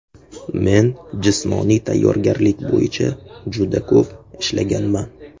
Men jismoniy tayyorgarlik bo‘yicha juda ko‘p ishlaganman.